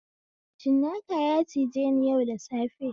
Cinnaka ya cijeni yau da safe